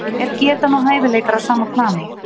Er getan og hæfileikar á sama plani?